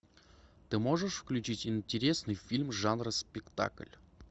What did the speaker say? ты можешь включить интересный фильм жанра спектакль